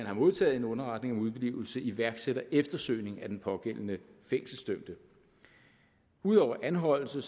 er modtaget en underretning om udeblivelse iværksætter eftersøgning af den pågældende fængselsdømte ud over anholdelse